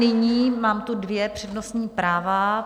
Nyní tu mám dvě přednostní práva.